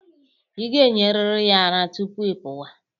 Ị ga-enyeriri ya ara tupu ị pụwa.